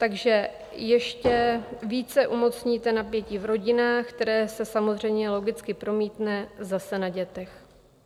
Takže ještě více umocníte napětí v rodinách, které se samozřejmě logicky promítne zase na dětech.